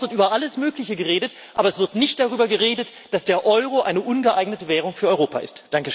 In diesem Haus wird über alles Mögliche geredet, aber es wird nicht darüber geredet, dass der Euro eine ungeeignete Währung für Europa ist.